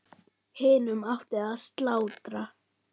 Hinum átti að slátra.